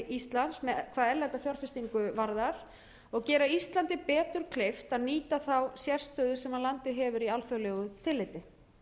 íslands hvað erlenda fjárfestingu varðar og gera íslandi betur kleift að nýta þá sérstöðu sem landið hefur í alþjóðlegu tilliti